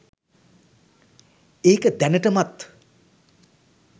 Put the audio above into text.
ඒක දැනටමත්